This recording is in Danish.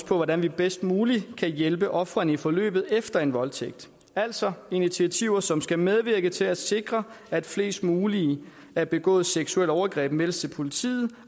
på hvordan vi bedst muligt kan hjælpe ofrene i forløbet efter en voldtægt altså initiativer som skal medvirke til at sikre at flest mulige af begåede seksuelle overgreb meldes til politiet